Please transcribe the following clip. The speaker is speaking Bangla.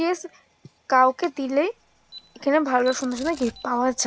টেস কাউকে দিলেই। এখানে ভালো সুন্দর সুন্দর গিফট পাওয়া যা--